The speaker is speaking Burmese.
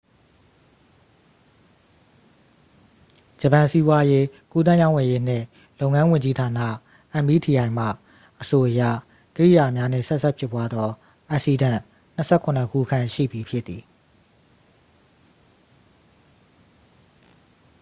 ဂျပန် စီးပွားရေး၊ ကူးသန်းရောင်းဝယ်ရေးနှင့် လုပ်ငန်းဝန်ကြီးဌာနာ meti မှ အဆိုအရ ကိရိယာများနှင့် ဆက်စပ်ဖြစ်ပွားသော အက်စီးဒန့် ၂၇ ခုခန့်ရှိပြီဖြစ်သည်။